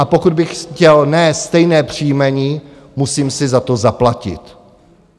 A pokud bych chtěl ne stejné příjmení, musím si za to zaplatit.